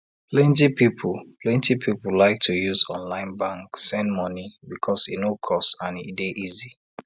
plenty people plenty people like to use online bank send money because e no cost and e dey easy